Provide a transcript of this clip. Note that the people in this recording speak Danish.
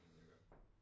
Men det godt